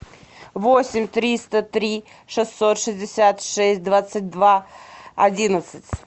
восемь триста три шестьсот шестьдесят шесть двадцать два одиннадцать